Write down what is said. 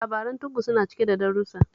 Labaran tuggu suna cike da darussa